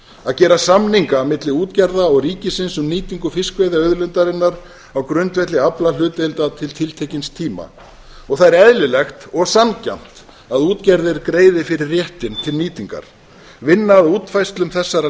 að gera samninga milli útgerða og ríkisins um nýtingu fiskveiðiauðlindarinnar á grundvelli aflahlutdeildar til tiltekins tíma það er eðlilegt og sanngjarnt að útgerðir greiði fyrir réttinn til nýtingar vinna að útfærslu þessara